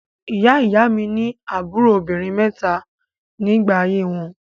Ìyá-ìy mi ní àbúrò obìnrin mẹ́ta nígbà ayé wọn.